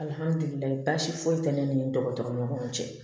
Alihamidulilala baasi foyi tɛ ne ni dɔgɔtɔrɔ ɲɔgɔn cɛ